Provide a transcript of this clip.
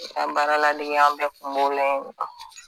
An baraladege an bɛɛ tun b'o la